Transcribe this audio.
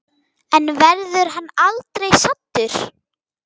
En verður hann aldrei saddur?